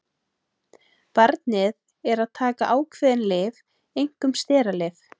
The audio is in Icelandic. Barnið er að taka ákveðin lyf, einkum steralyf.